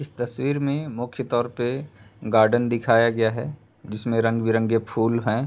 इस तस्वीर में मुख्यतौर पे गार्डन दिखाया गया है जिसमे रंग बिरंगे फूल हैं।